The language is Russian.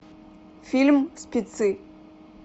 фильм спецы